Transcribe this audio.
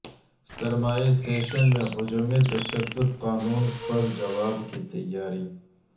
سرمائی session میں ہجومی تشدد قانون پر جواب کی تیاری